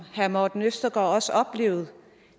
herre morten østergaard også oplevede